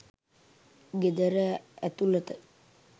ගෙදර ඇතුළත